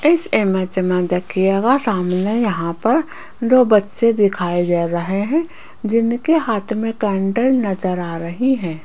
इस इमेज मे देखियेगा सामने यहां पर दो बच्चे दिखाई दे रहे है जिनके हाथ मे कैंडल नज़र आ रही है।